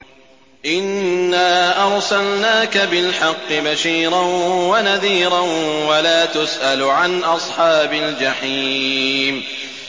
إِنَّا أَرْسَلْنَاكَ بِالْحَقِّ بَشِيرًا وَنَذِيرًا ۖ وَلَا تُسْأَلُ عَنْ أَصْحَابِ الْجَحِيمِ